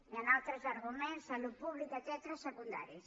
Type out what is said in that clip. hi han altres arguments salut pública etcètera secundaris